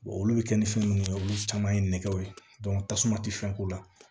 olu bɛ kɛ ni fɛn minnu ye olu caman ye nɛgɛw ye tasuma tɛ fɛn k'u la